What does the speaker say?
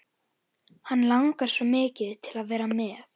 Hann langar svo mikið til að vera með.